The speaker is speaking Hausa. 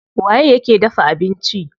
Waye yake dafa abinci?